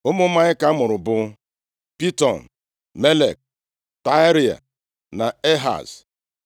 Ụmụ Maịka mụrụ bụ, Piton, Melek, Tarea na Ehaz.